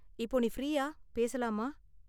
இப்போ நீ ஃப்ரீயா, பேசலாமா?